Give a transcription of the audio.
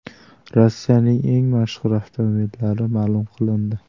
Rossiyaning eng mashhur avtomobillari ma’lum qilindi.